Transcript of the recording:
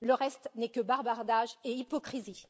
Le reste n'est que bavardage et hypocrisie.